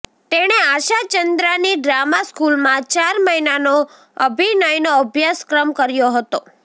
તેણે આશા ચંદ્રાની ડ્રામા સ્કૂલમાં ચાર મહિનાનો અભિનયનો અભ્યાસક્રમ કર્યો હતો